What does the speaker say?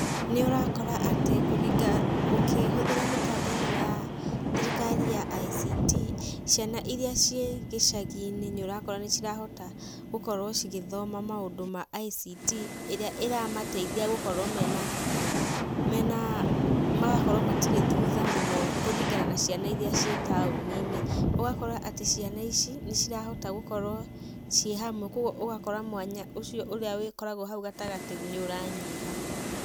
Nĩ ũrakora atĩ ũkĩhuthĩra mĩbango ĩno ya thirikari ya ICT ciana irĩa cie gĩcagi-inĩ nĩ ũrakora nĩ cirahota gũkorwo cigĩthoma maũndũ ma ICT, ĩrĩa ĩramateithia gũkorwo matirĩ thutha mũno kũringana na ciana iria cii taũnĩ-inĩ, ũgakora atĩ ciana ici nĩ cirahota gũkorwo cĩi hamwe koguo ũgakora mwanya ũcio ũkoragwo hau gatagata-inĩ nĩ ũranyiha.